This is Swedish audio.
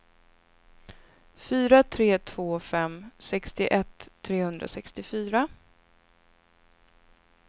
fyra tre två fem sextioett trehundrasextiofyra